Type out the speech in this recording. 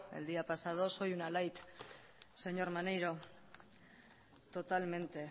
el día pasado soy una light señor maneiro totalmente